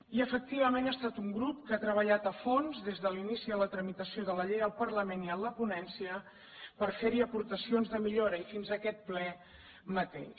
i efectivament ha estat un grup que ha treballat a fons des de l’inici de la tramitació de la llei al parlament i en la ponència per fer hi aportacions de millora i fins aquest ple mateix